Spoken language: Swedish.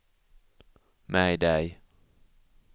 mayday